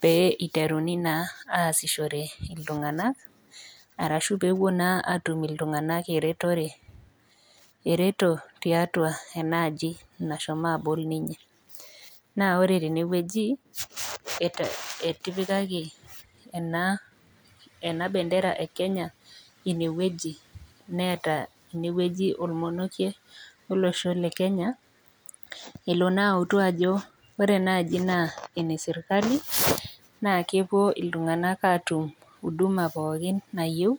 pee iteruni naa aasishore iltunganak arashu pepuo naa atum iltunganak eretore , ereto tiatua enaaji nashomo abol ninye. Naa ore tenewueji etipikaki enabendera ekenya inewueji ,neeta inewueji ormonokie olosho lekenya elonaa autu ajo ore enaaji naa enesirkali naa kepuo iltunganak atum huduma pookin nayieu .